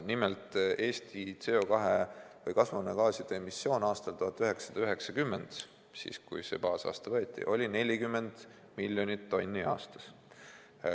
Nimelt, Eesti kasvuhoonegaaside emissioon aastal 1990 oli 40 miljonit tonni aastas.